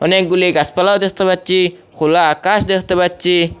অনেকগুলি গাসপালাও দেখতে পাচ্ছি খোলা আকাশ দেখতে পাচ্ছি।